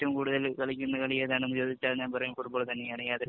ഏറ്റവും കൂടുതല്‍ കളിക്കുന്ന കളി ഏതാണെന്ന് ചോദിച്ചാല്‍ ഞാന്‍ പറയും ഫുട്ബോള് തന്നെയാണ് യാതൊരു